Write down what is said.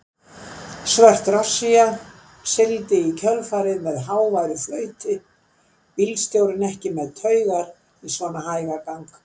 Svört drossía sigldi í kjölfarið með háværu flauti, bílstjórinn ekki með taugar í svona hægagang.